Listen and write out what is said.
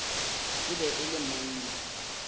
e be e le monna